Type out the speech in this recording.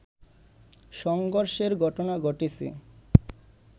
সংঘর্ষের ঘটনা ঘটেছে